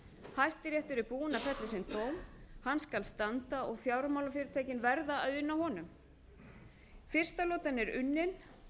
hæstiréttur er búinn að fella sinn dóm hann skal standa og fjármálafyrirtækin verða að una honum fyrsta lotan er unnin